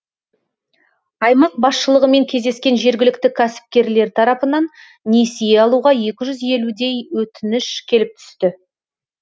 аймақ басшылығымен кездескен жергілікті кәсіпкерлер тарапынан несие алуға екі жүз елудей өтініш келіп түсті